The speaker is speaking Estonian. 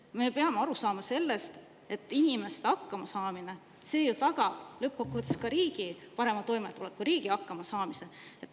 Me peame aru saama, et inimeste hakkamasaamine ju tagab lõppkokkuvõttes ka riigi parema toimetuleku, riigi hakkamasaamise.